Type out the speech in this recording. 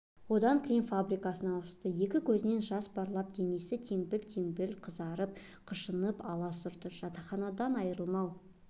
одан кілем фабрикасына ауысты екі көзінен жас парлап денесі теңбіл-теңбіл қызарып қышынып алас ұрады жатақханадан айрылмау